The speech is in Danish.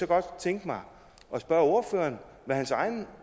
godt tænke mig at spørge ordføreren hvad hans egne